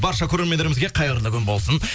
барша көрермендерімізге қайырлы күн болсын